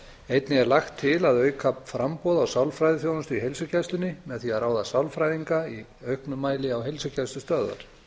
einnig er lagt til að auka framboð á sálfræðiþjónustu í heilsugæslunni með því að ráða sálfræðinga í auknum mæli á heilsugæslustöðvar